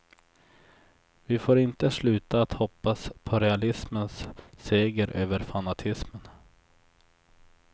Vi får inte sluta att hoppas på realismens seger över fanatismen.